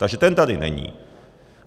Takže ten tady není.